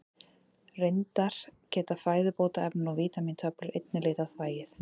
Reyndar geta fæðubótarefni og vítamíntöflur einnig litað þvagið.